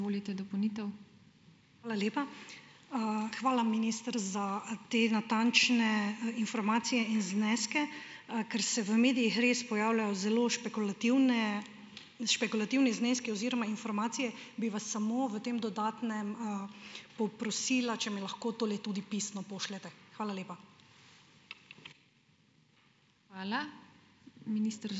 Hvala lepa. hvala, minister, za te natančne, informacije in zneske. ker se v medijih res pojavljajo zelo špekulativne, špekulativni zneski oziroma informacije, bi vas samo v tem dodatnem, poprosila, če mi lahko tole tudi pisno pošljete. Hvala lepa.